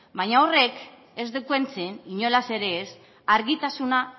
baina horrek ez du kentzen inolaz ere ez argitasuna